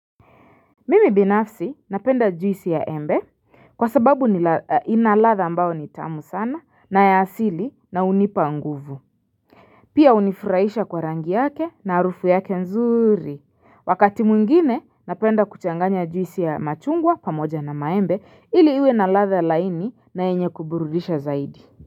Mimi binafsi napenda juisi ya embe kwa sababu inaladha ambao nitamu sana na yaasili na unipa nguvu Pia unifuraisha kwa rangi yake na harufu yake nzuri Wakati mwingine napenda kuchanganya juisi ya machungwa pamoja na maembe ili iwe na latha laini na yenye kuburudisha zaidi.